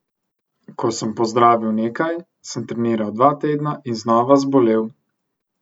Ko sem pozdravil nekaj, sem treniral dva tedna in znova zbolel.